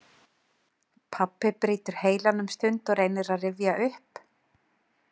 Pabbi brýtur heilann um stund og reynir að rifja upp.